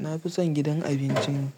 Na fi son gidan abincin